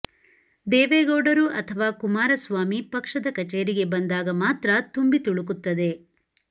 ದೇವೇಗೌಡರು ಅಥವಾ ಕುಮಾರಸ್ವಾಮಿ ಪಕ್ಷದ ಕಚೇರಿಗೆ ಬಂದಾಗ ಮಾತ್ರ ತುಂಬಿ ತುಳುಕುತ್ತದೆ